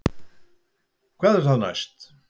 Hvað er þá næst